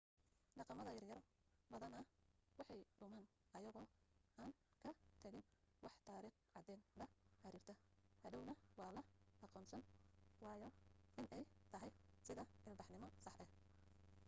dhaqamada yar yar badana way dhumaan ayagoo aan ka tagin wax tariikh cadeen la xirirta hadhowna waa la aqoonsan waayaa inay tahay sida ilbaxnimo sax ah